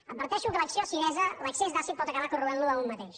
adverteixo que l’acció acidesa l’excés d’àcid pot acabar corroint lo a un mateix